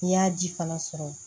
N'i y'a ji fana sɔrɔ